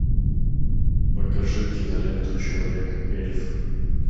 покажи киноленту человек эльф